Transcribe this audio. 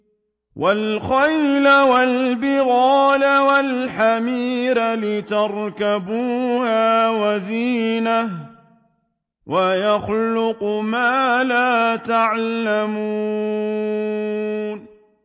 وَالْخَيْلَ وَالْبِغَالَ وَالْحَمِيرَ لِتَرْكَبُوهَا وَزِينَةً ۚ وَيَخْلُقُ مَا لَا تَعْلَمُونَ